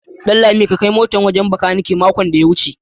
Danlami ka kai mota na wajen makaniki makon da ya wece.